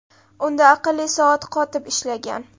Unda aqlli soat qotib ishlagan.